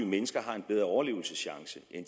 mennesker har en bedre overlevelseschance end